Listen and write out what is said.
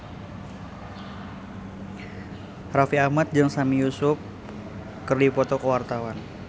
Raffi Ahmad jeung Sami Yusuf keur dipoto ku wartawan